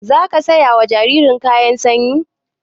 Zaka saya wa jaririn kayan sanyi?